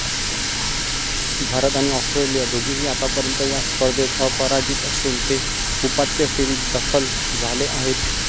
भारत आणि ऑस्ट्रेलिया दोघेही आत्तापर्यंत या स्पर्धेत अपराजित असून ते उपांत्य फेरीत दखल झाले आहेत.